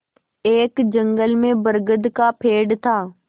एक जंगल में बरगद का पेड़ था